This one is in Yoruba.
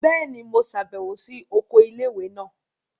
Bẹẹni, Mo ṣabẹwo si oko ilé-ìwé náà